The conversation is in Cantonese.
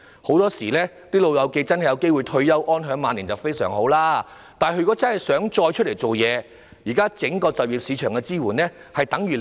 "老友記"有機會退休，安享晚年，固然非常好，但假如他們真的想再次投身職場，整個就業市場現時對他們的支援等於零。